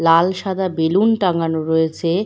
লাল সাদা বেলুন টাঙানো রয়েছে।